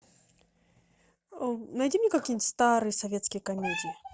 найди мне какие нибудь старые советские комедии